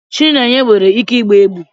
Chinenye nwere ike igba egbe